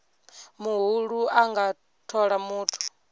muhulu a nga thola muthu